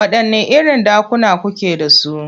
Waɗanne irin ɗakuna kuke da su?